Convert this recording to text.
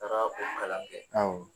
Taara o kalan kɛ